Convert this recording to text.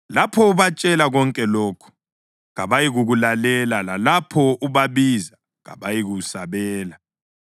Lapho ubatshela konke lokhu, kabayikukulalela; lalapho ubabiza, kabayikusabela.